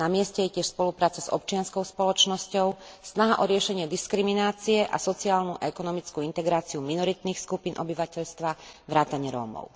Namieste je tiež spolupráca s občianskou spoločnosťou, snaha o riešenie diskriminácie a sociálnu a ekonomickú integráciu minoritných skupín obyvateľstva vrátane Rómov.